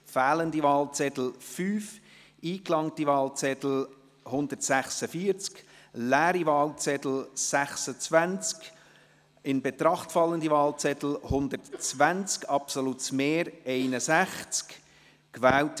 Bei 151 ausgeteilten und 146 eingegangenen Wahlzetteln, wovon leer 26 und ungültig 0, in Betracht fallend 120, wird bei einem absoluten Mehr von 61 gewählt: